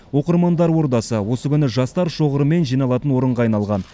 оқырмандар ордасы осы күні жастар шоғырымен жиналатын орынға айналған